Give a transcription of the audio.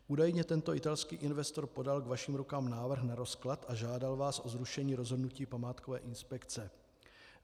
Údajně tento italský investor podal k vašim rukám návrh na rozklad a žádal vás o zrušení rozhodnutí památkové inspekce.